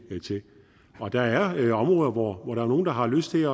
til og der er områder hvor der er nogle der har lyst til